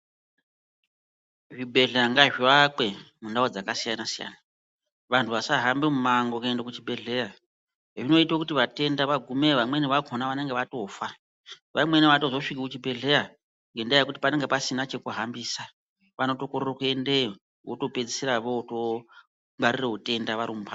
Zvibhedhleya ngazviakwe mundau dzakasiyanasiyana vanhu vasahambe mimango kwende kuzvibhedhleya zvinoite kuti vatenda vagumeyo vamweni vakhona vanenge vatofa nguwa imweni aazotosviki kuchibhedhleya ngendaa yekuti panenge pasina chekuhambisa vanotokorere kwendeyo votopedzisira vootongwarire utenda vari mumhatso.